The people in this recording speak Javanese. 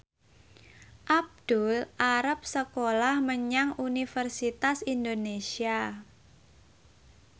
Abdul arep sekolah menyang Universitas Indonesia